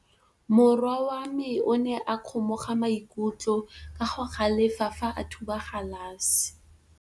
Morwa wa me o ne a kgomoga maikutlo ka go galefa fa a thuba galase.